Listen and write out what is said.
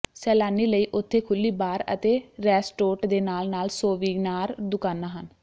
ਸੈਲਾਨੀ ਲਈ ਉਥੇ ਖੁੱਲ੍ਹੀ ਬਾਰ ਅਤੇ ਰੈਸਟੋਰਟ ਦੇ ਨਾਲ ਨਾਲ ਸੋਵੀਨਾਰ ਦੁਕਾਨਾ ਹਨ